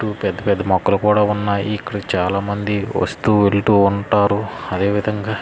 ఇటూ పెద్ద పెద్ద మొక్కలు కూడా ఉన్నాయి. ఇక్కడికి చాలా మంది వస్తూ వెళ్తూ ఉంటారు. అదేవిధంగా.